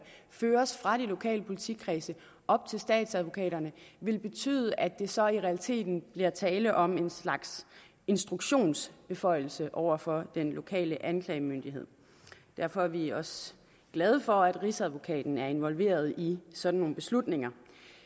føres fra de lokale politikredse op til statsadvokaterne vil det betyde at der så i realiteten bliver tale om en slags instruktionsbeføjelse over for den lokale anklagemyndighed derfor er vi også glade for at rigsadvokaten er involveret i sådan nogle beslutninger